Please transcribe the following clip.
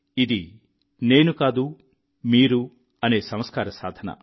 ఇదే నేను కాదుమీరు అనే సంస్కార సాధన